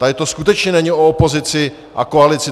Tady to skutečně není o opozici a koalici.